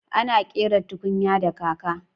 Ana ƙera tukunya da kaka